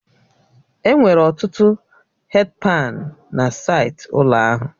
Enwere ọtụtụ hèdi pani na saịtị ụlọ ahụ